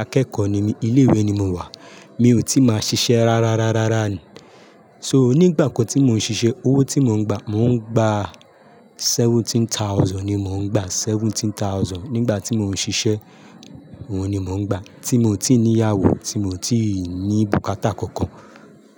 akẹ́kọ̀ọ́ ní mi, ilé ìwé ni mò wà. Mi ò tí máa ṣiṣẹ́ rárárárárára ni. So nígbà kan tí mò ń ṣiṣẹ́, owó tí mò ń gbà, mò ń gbà, seventeen thousand ni mò ń gbà. Seventeen thousand nígbà tí mò ń ṣiṣẹ́, òun ni mò ń gbà. Tí mò tí ní ìyàwó, tí mò tí ní bùkátà kankan.